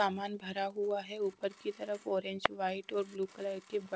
सामान भरा हुआ है ऊपर की तरफ ऑरेंज वाइट और ब्लू कलर के ब--